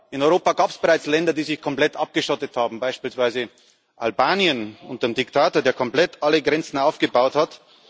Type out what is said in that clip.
In Europa gab es bereits Länder, die sich komplett abgeschottet haben, beispielsweise Albanien unter einem Diktator, der komplett alle Grenzen aufgebaut hat.